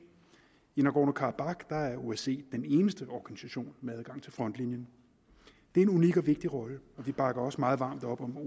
i nagorno karabakh er er osce den eneste organisation med adgang til frontlinjen det er en unik og vigtig rolle og vi bakker også meget varmt op om